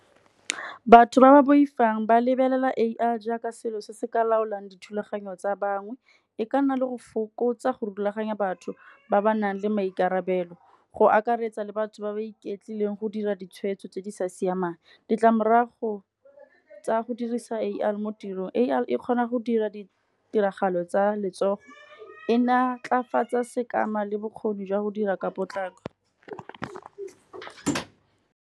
Batho ba ba boifang ba lebelela A_I jaaka selo se se ka laolang dithulaganyo tsa bangwe. E ka nna le go fokotsa go rulaganya batho ba ba nang le maikarabelo, go akaretsa le batho ba ba iketlileng go dira ditshwetso tse di sa siamang. Ditlamorago tsa go dirisa A_I mo tirong, A_I e kgona go dira ditiragalo tsa letsogo, e natlafatsa sekama le bokgoni jwa go dira ka potlako.